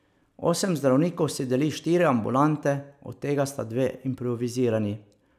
Osem zdravnikov si deli štiri ambulante, od tega sta dve improvizirani.